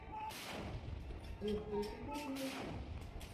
лучший эпизод малаты